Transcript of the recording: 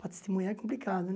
Para testemunhar é complicado, né?